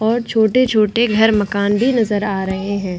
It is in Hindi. और छोटे-छोटे घर मकान भी नजर आ रहे हैं ।